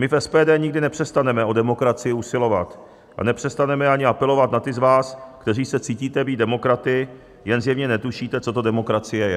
My v SPD nikdy nepřestaneme o demokracii usilovat a nepřestaneme ani apelovat na ty z vás, kteří se cítíte být demokraty, jen zjevně netušíte, co to demokracie je.